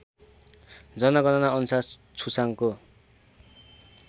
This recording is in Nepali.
जनगणना अनुसार छुसाङको